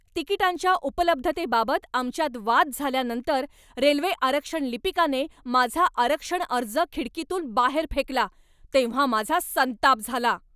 तिकिटांच्या उपलब्धतेबाबत आमच्यात वाद झाल्यानंतर रेल्वे आरक्षण लिपिकाने माझा आरक्षण अर्ज खिडकीतून बाहेर फेकला तेव्हा माझा संताप झाला.